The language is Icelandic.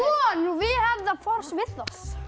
vel við